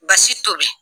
Basi tobi